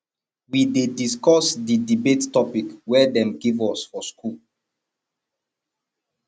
we dey discuss di debate topic wey dem give us for skool